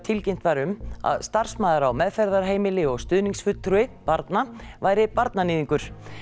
tilkynnt var um að starfsmaður á meðferðarheimili og stuðningsfulltrúi barna væri barnaníðingur